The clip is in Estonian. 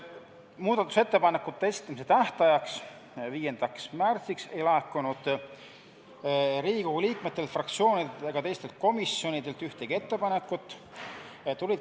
Muudatusettepanekute esitamise tähtajaks, 5. märtsiks ei laekunud Riigikogu liikmetelt, fraktsioonidelt ega teistelt komisjonidelt ühtegi ettepanekut.